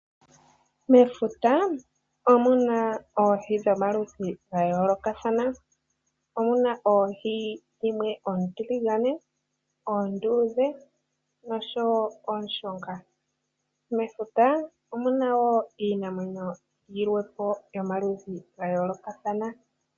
Mefuta omuna oohi dhomaludhi ga yoolokathana. Omuna oohi dhimwe oontiligane, oonduudhe noshowo ooshunga. Mefuta omuna wo iinamwenyo yilwe po yomaludhi ga yoolokathana.